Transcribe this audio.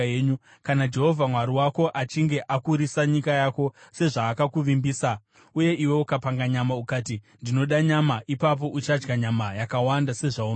Kana Jehovha Mwari wako achinge akurisa nyika yako sezvaakakuvimbisa, uye iwe ukapanga nyama ukati, “Ndinoda nyama,” ipapo uchadya nyama yakawanda sezvaunoda.